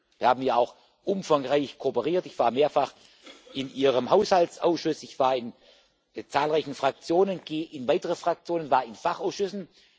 Wir haben ja auch umfangreich kooperiert. Ich war mehrfach in Ihrem Haushaltsausschuss, ich war in zahlreichen Fraktionen, gehe in weitere Fraktionen, war in Fachausschüssen.